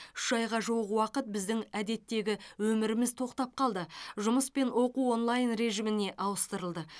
үш айға жуық уақыт біздің әдеттегі өміріміз тоқтап қалды жұмыс пен оқу онлайн режиміне ауыстырылды